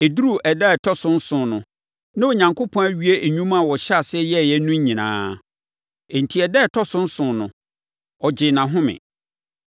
Ɛduruu ɛda a ɛtɔ so nson no, na Onyankopɔn awie nnwuma a ɔhyɛɛ aseɛ yɛeɛ no nyinaa. Enti, ɛda a ɛtɔ so nson no, ɔgyee nʼahome.